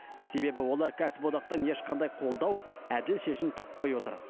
себебі олар кәсіподақтан ешқандай қолдау әділ шешім таппай отыр